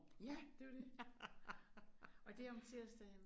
Ja! Det jo det. Og det om tirsdagen?